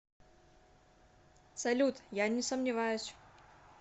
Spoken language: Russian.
салют я не сомневаюсь